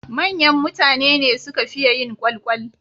Manyan mutane su suka fiye yin kwalkwal.